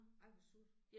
Ej hvor surt